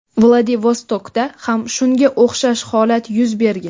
Vladivostokda ham shunga o‘xshash holat yuz bergan.